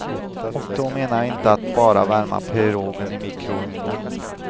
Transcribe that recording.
Och då menar jag inte att bara värma pirogen i mikrougnen.